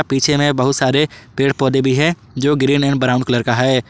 पीछे में बहुत सारे पेड़ पौधे भी है जो ग्रीन एवं ब्राउन कलर का है।